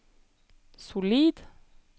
solid